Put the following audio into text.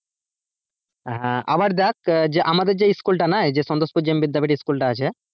হ্যাঁ, আবার দেখ আহ যে আমাদের যেই স্কুল তা নাই সন্তোষপুর জেমবিদ্যা বাড়ি স্কুলটা আছে।